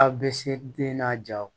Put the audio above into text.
Aw bɛ se den n'a jaw